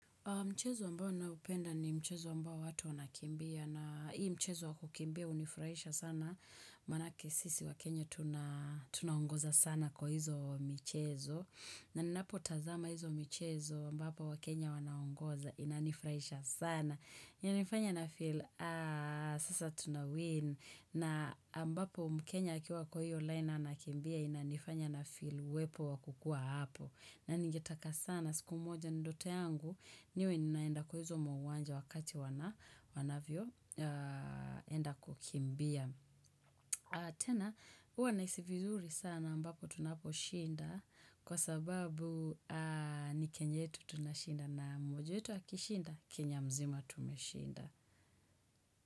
Mchezo mbao naupenda ni mchezo mbao watu wanakimbia na hii mchezo wa kukimbia unifraisha sana. Manake sisi wakenye tunaongoza sana kwa hizo michezo. Na ninapo tazama hizo michezo ambapo wakenye wanaongoza inanifraisha sana. Inanifanya nifeel aah sasa tunawin. Na ambapo mkenye akiwa kwa hiyo line anakimbia inanifanya nafeel wepo wa kukua hapo. Na ningetaka sana siku mmoja ndoto yangu niwe ninaenda kwa hizo uwa ha wakati wanavyo enda kukimbia. Tena uwa nahisi vizuri sana ambapo tunaposhinda kwa sababu ni kenye tu tunashinda na mmoja wetu akishindana, kenya mzima tume shinda.